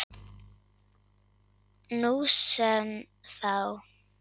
Nú sem þá.